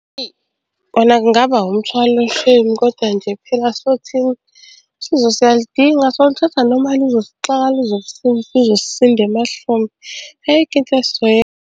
Eyi kona kungaba umthwalo shame koda nje phela sothini, usizo siyaludinga soluthatha noma luzosixaka luzosisinda emahlombe, ayikho into .